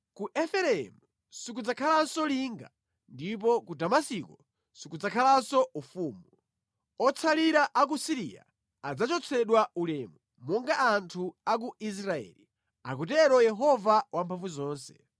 Ku Efereimu sikudzakhalanso linga, ndipo ku Damasiko sikudzakhalanso ufumu; Otsalira a ku Siriya adzachotsedwa ulemu monga anthu a ku Israeli,” akutero Yehova Wamphamvuzonse.